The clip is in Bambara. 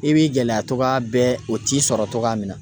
I b'i gɛlɛya togoya bɛɛ o t'i sɔrɔ cogoya min na.